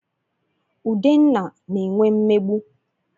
Udenna na-enwe mmegbu.